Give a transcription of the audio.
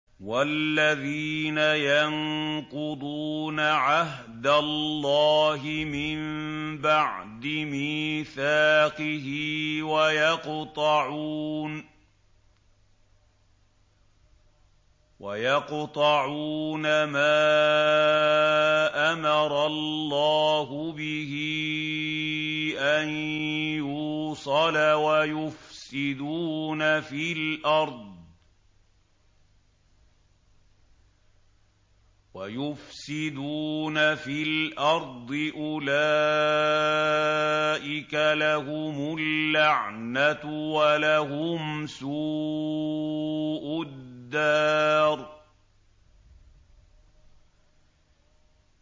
وَالَّذِينَ يَنقُضُونَ عَهْدَ اللَّهِ مِن بَعْدِ مِيثَاقِهِ وَيَقْطَعُونَ مَا أَمَرَ اللَّهُ بِهِ أَن يُوصَلَ وَيُفْسِدُونَ فِي الْأَرْضِ ۙ أُولَٰئِكَ لَهُمُ اللَّعْنَةُ وَلَهُمْ سُوءُ الدَّارِ